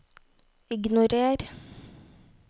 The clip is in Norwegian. ignorer